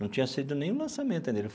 Não tinha saído nenhum lançamento ainda.